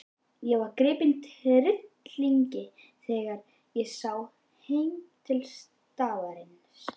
Ég varð gripinn tryllingi þegar sá heim til staðarins.